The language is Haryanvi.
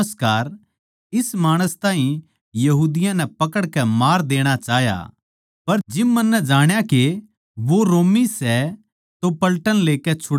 इस माणस ताहीं यहूदियाँ नै पकड़कै मार देणा चाह्या पर जिब मन्नै जाण्या के रोमी सै तो पलटन लेकै छुड़ा ल्याया